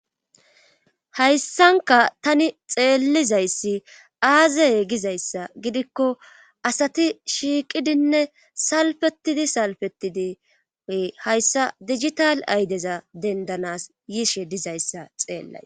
Hayssanka tani xeellizayssi aazeye gizayssa gidikko asati shiiqidinne salfetidi salfetidi we hayssa digital aydeza dendanas yiishe dizayssa xeellay